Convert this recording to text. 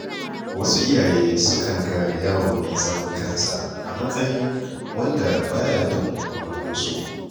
Wasu iyaye sukan ga yaro mai zaman kansa a matsayin wanda ba ya bin umarninsu.